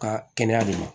Ka kɛnɛya de ma